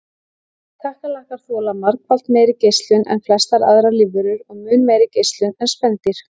Kakkalakkar þola margfalt meiri geislun en flestar aðrar lífverur og mun meiri geislun en spendýr.